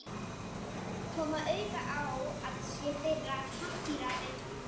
koma auga á að sé þeirra pappíra virði.